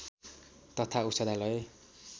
तथा औषधालय